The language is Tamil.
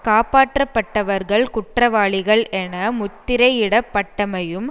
காப்பாற்றப்பட்டவர்கள் குற்றவாளிகள் என முத்திரையிடப்பட்டமையும்